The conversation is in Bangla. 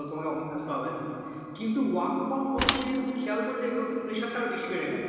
চলো তোমাকে office আসতে হবে না কিন্তু work from home এ তুমি যদি একটু খেয়াল করে দেখবে ওর তো pressure টা আরো বেশি বেড়ে গেল